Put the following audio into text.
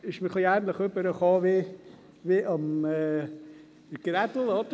Es ist bei mir ein wenig ähnlich rübergekommen wie bei Grossrat Grädel.